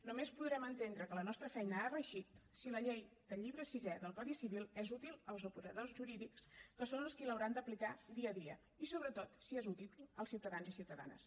només podrem entendre que la nostra feina ha reeixit si la llei del llibre sisè del codi civil és útil als operadors jurídics que són els qui l’hauran d’aplicar dia a dia i sobretot si és útil als ciutadans i ciutadanes